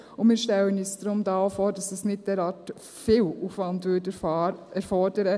Denn wir stellen uns auch vor, dass das nicht derart viel Aufwand erfordern würde.